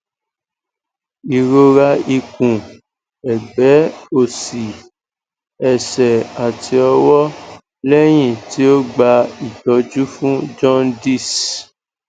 irora ikun egbe osi ese ati owo lehin ti o gba itoju fun juandice